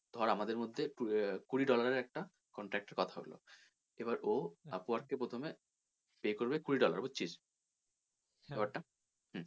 ধর আমাদের মধ্যে আহ কুড়ি dollar এর একটা contract কথা হল এবার ও upwork কে প্রথমে pay করবে কুড়ি dollar বুঝছিস? ব্যাপার টা? হুম